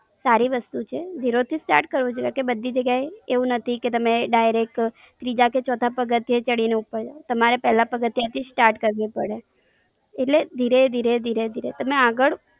સારી વસ્તુ છે. Zero થી start કરવું જોઈએ કે બધી જગ્યા એ એવું નથી કે તમે direct બીજા કે ચોથા પગથિએ ચડી ને ઉપર. તમારે પેલા પગથિયાં થી start કરવું પડે. એટલે ધીરે ધીરે ધીરે ધીરે તમે આગળ.